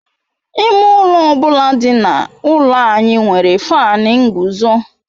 Ime ụlọ ọ bụla dị n'ụlọ anyị nwere Faanu nguzo